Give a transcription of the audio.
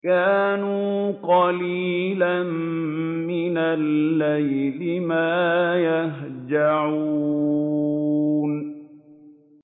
كَانُوا قَلِيلًا مِّنَ اللَّيْلِ مَا يَهْجَعُونَ